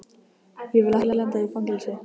Ég vil ekki lenda í fangelsi.